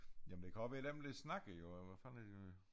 Jamen det kan også være dem der snakker jo hvad fanden er de nu